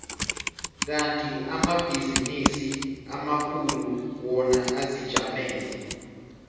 kandi amabhizinisi amakhulu wona azijamele